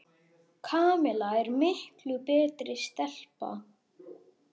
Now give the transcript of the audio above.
Kamilla er miklu betri stelpa.